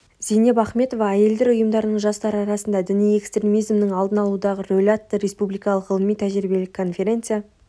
зейнеп ахметова әйелдер ұйымдарының жастар арасында діни экстремизмнің алдын алудағы рөлі атты республикалық ғылыми-тәжірибелік конфереция